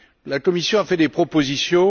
La Commission a fait des propositions.